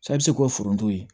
Sa bɛ se k'o foronto ye